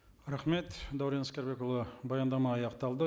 рахмет дәурен әскербекұлы баяндама аяқталды